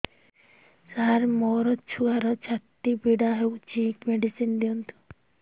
ସାର ମୋର ଛୁଆର ଛାତି ପୀଡା ହଉଚି ମେଡିସିନ ଦିଅନ୍ତୁ